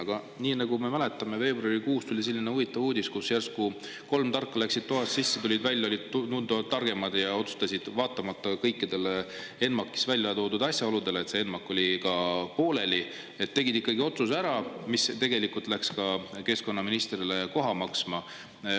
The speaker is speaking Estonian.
Aga nii nagu me mäletame, veebruarikuus tuli selline huvitav uudis, kus järsku kolm tarka läksid toas sisse, tulid välja, olid tunduvalt targemad, ja otsustasid vaatamata kõikidele ENMAK-is välja toodud asjaoludele, et see ENMAK oli ka pooleli, tegid ikkagi otsuse ära, mis tegelikult läks ka keskkonnaministrile koha maksma.